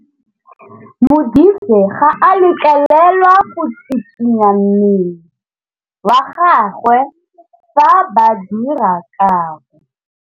Modise ga a letlelelwa go tshikinya mmele wa gagwe fa ba dira karô.